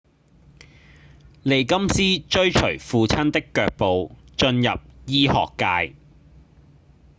利金斯追隨父親的腳步進入醫學界